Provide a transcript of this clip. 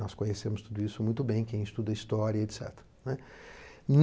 Nós conhecemos tudo isso muito bem, quem estuda história e et cetera, né.